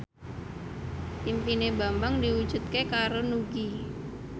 impine Bambang diwujudke karo Nugie